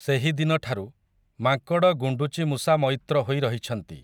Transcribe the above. ସେହିଦିନଠାରୁ, ମାଙ୍କଡ଼ ଗୁଣ୍ଡୁଚି ମୂଷା ମଇତ୍ର ହୋଇ ରହିଛନ୍ତି ।